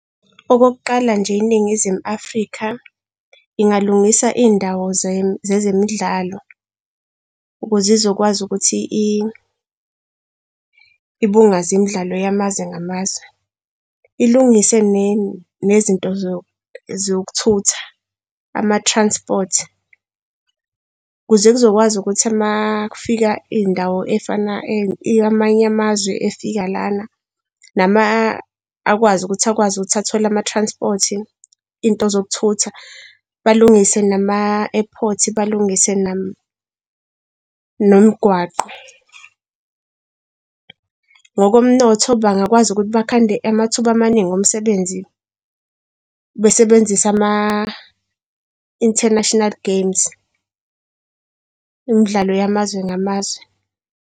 Okokuqala nje, iNingizimu Afrika ingalungisa iy'ndawo zezemidlalo ukuze izokwazi ukuthi ibungaze imidlalo yamazwe ngamazwe. Ilungise nezinto zokuthutha, ama-transport. Ukuze kuzokwazi ukuthi uma kufika iy'ndawo ey'fana amanye amazwe efika lana akwazi ukuthi athole ama-transport iy'nto zokuthutha balungise nama-airport, balungise nemgwaqo. Ngokomnotho bangakwazi ukuthi bakhande amathuba amaningi omsebenzi besebenzisa ama-International Games, imidlalo yamazwe ngamazwe.